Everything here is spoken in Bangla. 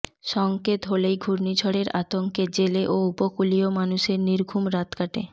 সংকেত হলেই ঘূর্ণিঝড়ের আতংঙ্কে জেলে ও উপকূলীয় মানুষের নির্ঘুম রাত কাটে